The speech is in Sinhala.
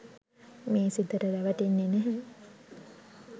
මේ සිතට රැවටෙන්නෙ නෑ.